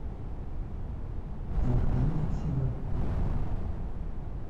закажи такси в аэропорт